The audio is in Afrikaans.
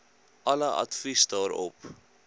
alle advies daarop